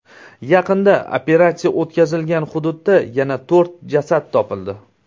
Yaqinda operatsiya o‘tkazilgan hududda yana to‘rt jasad topildi.